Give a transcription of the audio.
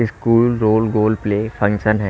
School role गोलप्ले function है।